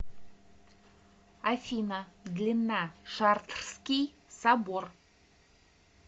афина длина шартрский собор